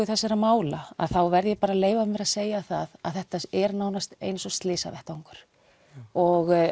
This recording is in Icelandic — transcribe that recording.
þessara mála þá verð ég að leyfa mér að segja að þetta er nánast eins og slysavettvangur og